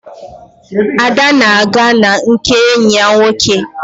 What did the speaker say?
Ada na-aga na nke enyi ya nwoke